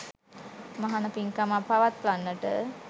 මහණ පින්කමක් පවත්වන්නට